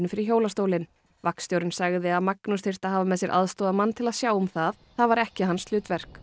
fyrir hjólastólinn vagnstjórinn sagði að Magnús þyrfti að hafa með sér aðstoðarmann til að sjá um það það væri ekki hans hlutverk